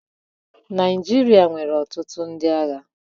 Naịjirịa nwere ọtụtụ ndị agha.